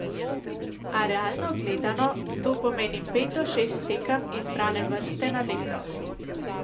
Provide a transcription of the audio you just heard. A realno gledano, to pomeni pet do šest tekem izbrane vrste na leto.